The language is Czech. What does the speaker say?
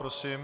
Prosím.